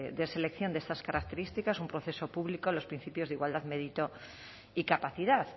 de selección de estas características un proceso público a los principios de igualdad mérito y capacidad